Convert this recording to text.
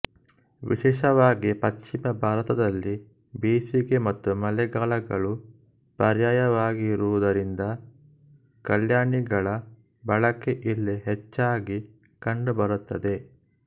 ವಿಶೇಷವಾಗಿ ಪಶ್ಚಿಮ ಭಾರತದಲ್ಲಿ ಬೇಸಿಗೆ ಮತ್ತು ಮಳೆಗಾಲಗಳು ಪರ್ಯಾಯವಾಗಿರುವದರಿಂದ ಕಲ್ಯಾಣಿಗಳ ಬಳಕೆ ಇಲ್ಲಿ ಹೆಚ್ಚಾಗಿ ಕಂಡುಬರುತ್ತದೆ